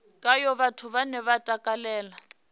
khayo vhathu vhane vha takalela